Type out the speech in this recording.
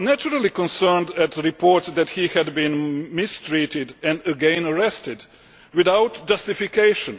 were naturally concerned at reports that he had been mistreated and again arrested without justification.